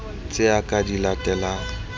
tse a ka di latelang